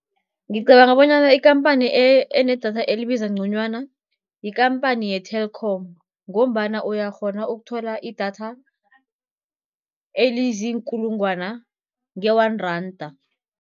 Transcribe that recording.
Ngicabanga bonyana ikhamphani enedatha elibiza nconywana yikhamphani ye-Telkom, ngombana uyakghona ukuthola idatha eliziinkulungwana nge-one randa.